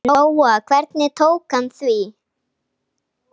Lóa: Hvernig tók hann því?